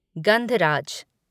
गंधराज